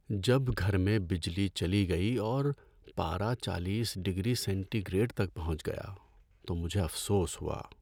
جب گھر میں بجلی چلی گئی اور پارہ چالیس ڈگری سینٹی گریڈ تک پہنچ گیا تو مجھے افسوس ہوا۔